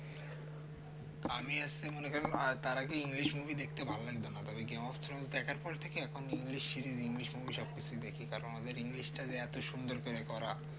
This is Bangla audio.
আমি আসছি মনে করেন তার আগে english movie দেখতে ভালো লাগত না ওই game of throne দেখার পর থেকে এখন english series english movie সব দেখি কারণ এখন english টা যে এত সুন্দর করে করা